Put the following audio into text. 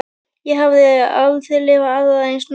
Ég hafði aldrei lifað aðra eins nótt.